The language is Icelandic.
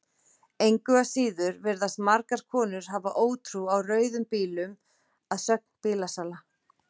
Engu að síður virðast margar konur hafa ótrú á rauðum bílum að sögn bílasala.